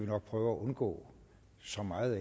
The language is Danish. nok prøve at undgå så meget